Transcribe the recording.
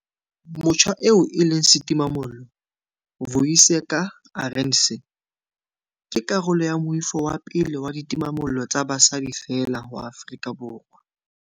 Motjha eo e leng setimamollo, Vuyiseka Arendse, ke karolo ya moifo wa pele wa ditimamollo tsa basadi feela wa Afrika Borwa.